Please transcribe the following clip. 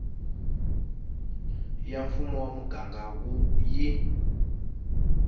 ya mfumo wa muganga yi